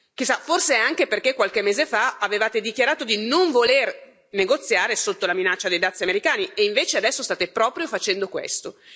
Chissà, forse è anche perché qualche mese fa avevate dichiarato di non voler negoziare sotto la minaccia dei dazi americani e invece adesso state proprio facendo questo.